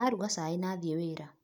Aruga cai na athĩĩ wĩra.